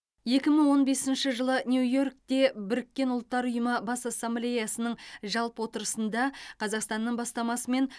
екі мың он бесінші жылы нью йоркте біріккен ұлттар ұйымының бас ассамблеясының жалпы отырысында қазақстанның бастамасымен